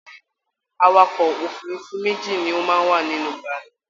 Àwàkọ̀ òfurùnfu méjì ni o máa n wa nínú bàálù